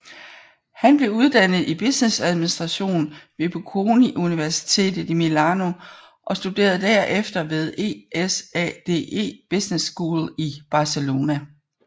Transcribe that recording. Han blev uddannet i businessadministration ved Bocconi Universitet i Milano og studerede derefter ved ESADE Business School i Barcelona